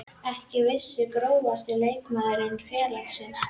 Ekki viss Grófasti leikmaður innan félagsins?